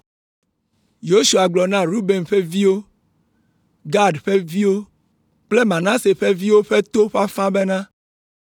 Yosua gblɔ na Ruben ƒe viwo, Gad ƒe viwo kple Manase ƒe viwo ƒe to ƒe afã bena,